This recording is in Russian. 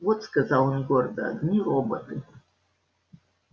вот сказал он гордо одни роботы